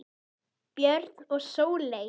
Björn og Sóley.